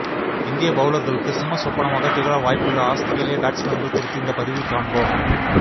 இந்திய பவுலர்களுக்கு சிம்ம சொப்பனமாக திகழ வாய்ப்புள்ள ஆஸ்திரேலிய பேட்ஸ்மேன்கள் குறித்து இந்த பதிவில் காண்போம்